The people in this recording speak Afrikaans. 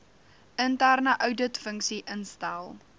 interne ouditfunksie instel